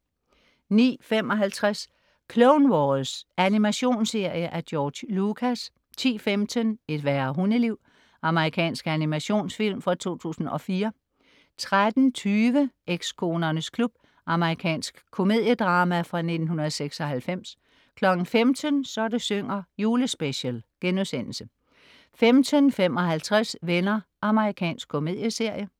09.55 Clone Wars. Animationsserie af George Lucas 10.15 Et værre hundeliv. Amerikansk animationsfilm fra 2004 13.20 Ekskonernes klub. Amerikansk komediedrama fra 1996 15.00 Så det synger. Julespecial* 15.55 Venner. Amerikansk komedieserie